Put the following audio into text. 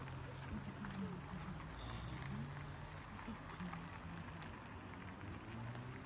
закажи мне пожалуйста на дом апельсины килограмм